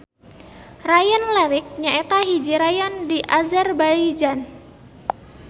Rayon Lerik nyaeta hiji rayon di Azerbaijan.